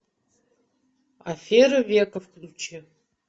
аферы века включи